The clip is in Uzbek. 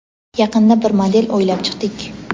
Yaqinda bir model o‘ylab chiqdik.